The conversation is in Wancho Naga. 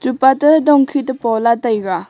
gapa te dong khit te pola taiga.